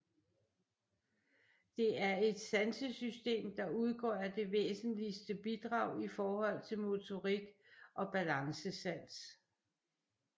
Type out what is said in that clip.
Det er et sansesystem der udgør det væsentligste bidrag i forhold til motorik og balancesans